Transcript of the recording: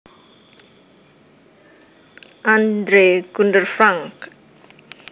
Andre Gunder Frank